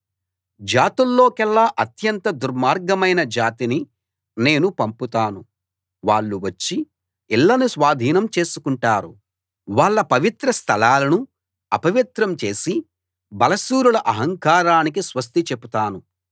జాతుల్లోకెల్లా అత్యంత దుర్మార్గమైన జాతిని నేను పంపుతాను వాళ్ళు వచ్చి ఇళ్ళను స్వాధీనం చేసుకుంటారు వాళ్ళ పవిత్ర స్థలాలను అపవిత్రం చేసి బలశూరుల అహంకారానికి స్వస్తి చెపుతాను